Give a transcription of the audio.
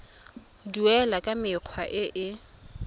duelwa ka mekgwa e e